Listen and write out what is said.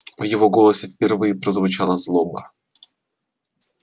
в его голосе впервые прозвучала злоба